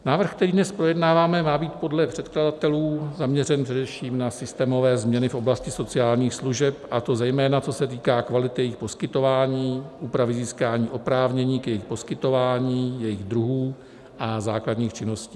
Návrh, který dnes projednáváme, má být podle předkladatelů zaměřen především na systémové změny v oblasti sociálních služeb, a to zejména co se týká kvality jejich poskytování, úpravy získání oprávnění k jejich poskytování, jejich druhů a základních činností.